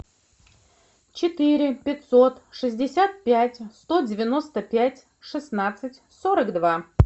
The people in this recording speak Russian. четыре пятьсот шестьдесят пять сто девяносто пять шестнадцать сорок два